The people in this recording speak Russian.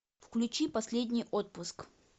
включи последний отпуск